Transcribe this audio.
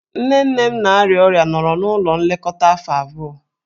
Nne nne m na-arịa ọrịa nọrọ n'ụlọ nlekọta afọ abụọ.